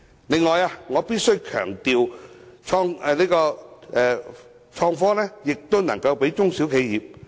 此外，我必須強調，創新科技亦應適用於中小型企業。